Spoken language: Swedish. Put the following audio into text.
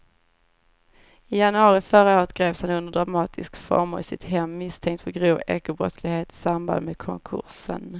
I januari förra året greps han under dramatiska former i sitt hem misstänkt för grov ekobrottslighet i samband med konkursen.